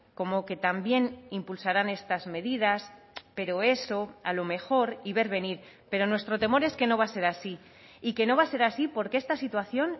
como que también impulsarán estas medidas pero eso a lo mejor y ver venir pero nuestro temor es que no va a ser así y que no va a ser así porque esta situación